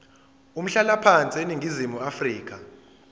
umhlalaphansi eningizimu afrika